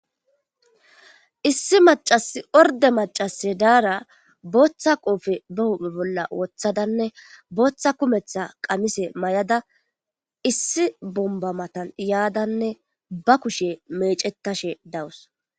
Issi macasi orde macase daara booththa qoofe ba huphe bolla woththadanne booththa kumetha qamise may'ada issi bombba matan yaadanne ba kushe meecettashe dawus.